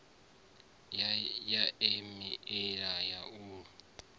ya e meili ya u